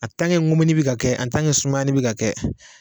mumuni bi ka kɛ kɛ sumani bi ka kɛ